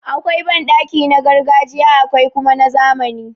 Akwai banɗaki na gargajiya akwai kuma na zamani.